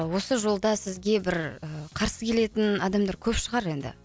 осы жолда сізге бір ы қарсы келетін адамдар көп шығар енді